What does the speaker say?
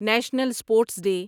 national sports day